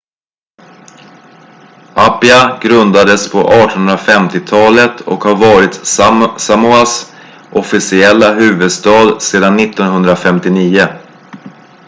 apia grundades på 1850-talet och har varit samoas officiella huvudstad sedan 1959